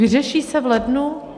Vyřeší se v lednu?